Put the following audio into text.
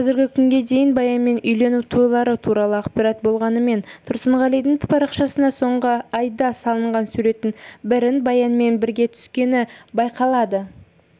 қазіргі күнге дейін баянмен үйлену тойлары туралы ақпарат болмағанымен тұрсынғалидың парақшасына соңғы айда салынған суреттің бірін баянмен бірге түскені байқалады